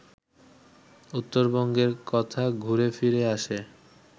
উত্তরবঙ্গের কথা ঘুরে ফিরে আসে